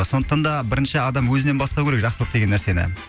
сондықтан да бірінші адам өзінен бастау керек жақсылық деген нәрсені